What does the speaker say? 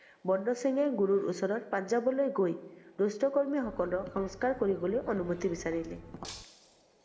বন্দৰ সিংহে গুৰুৰ ওচৰত পুঞ্জাবলৈ গৈ, দুষ্ট কৰ্মীসকলক সংকস্কৰ কৰিবলৈ অনুমতি বিচাৰিলে।